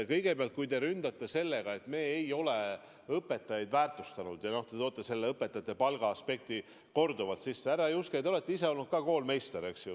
Kõigepealt, kui te ründate sellega, et me ei ole õpetajaid väärtustanud, ja te toote õpetajate palga aspekti korduvalt sisse, siis, härra Juske, te olete ise ka koolmeister olnud.